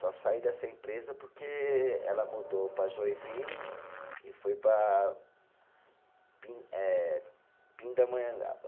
Só saí dessa empresa porque ela mudou para Joinville e foi para pin eh Pindamonhangaba.